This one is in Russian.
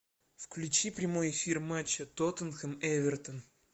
включи прямой эфир матча тоттенхэм эвертон